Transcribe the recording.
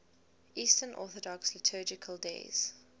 eastern orthodox liturgical days